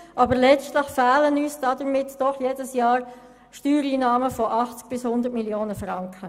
Aber letztlich fehlen uns dadurch jedes Jahr Steuereinnahmen von 80 Mio. bis 100 Mio. Franken.